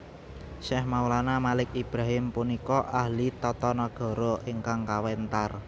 Syekh Maulana Malik Ibrahim punika ahli tata nagara ingkang kawentar